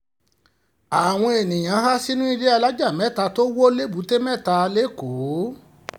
àwọn èèyàn há sínú ilé alájà mẹ́ta tó wọ lẹ́bùté-mẹ́ta lẹ́kọ̀ọ́